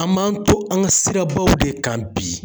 An m'an to an ka sirabaw de kan bi